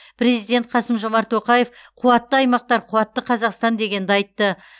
президент қасым жомарт тоқаев қуатты аймақтар қуатты қазақстан дегенді айтты